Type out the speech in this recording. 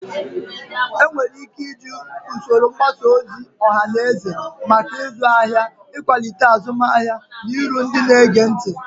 Enwere ike iji usoro mgbasa ozi ọha na eze maka ịzụ ahịa, ịkwalite azụmahịa, na iru ndị na-ege ntị.